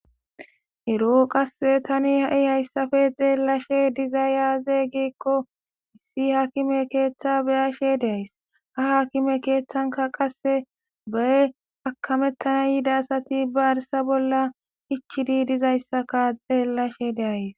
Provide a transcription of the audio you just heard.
ero qasse tani ha'i hayssappe xeellashe dizay aaze giikko issi haakime keeththa beyashe de'ays ha haakime keeththanka qasse be akamettana yidayasati ba arsa bolla ichidi dizayssaka xeellashe de'ays.